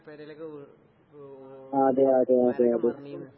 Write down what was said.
പെരേലൊക്കെ വീ വ് വ് മരോക്കെ മറിഞ്ഞീന്ന്.